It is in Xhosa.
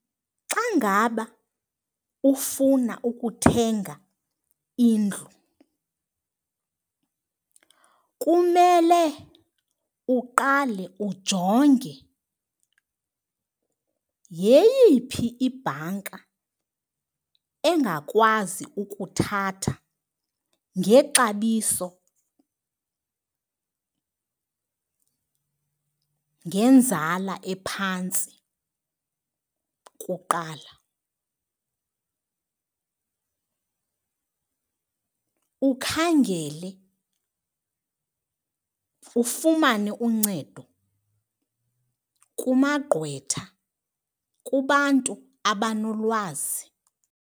Xa ngaba ufuna ukuthenga indlu kumele uqale ujonge yeyiphi ibhanka engakwazi ukuthatha ngexabiso, nangenzala ephantsi kuqala. Ukhangele ufumane uncedo kumagqwetha, kubantu abanolwazi.